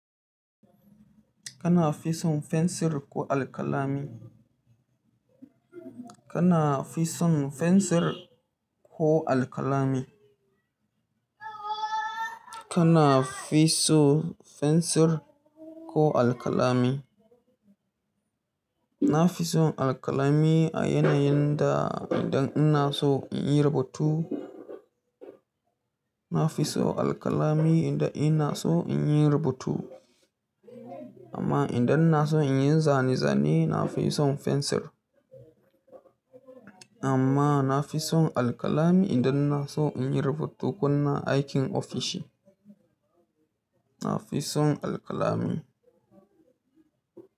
Kana fi son fensir ko alkalami? Kana fi son fensir ko alkalami? Kana fi so fensir ko alkalami? Na fi son alkalami a yanayin da idan ina so in yi rubutu. Na fi so alkalami idan ina so in yi rubutu. Amma idan ina so in yi zane-zane, na fi son fensir. Amma na fi son alkalami idan ina so in yi rubutu ko na aikin ofishi. Na fi son alkalami.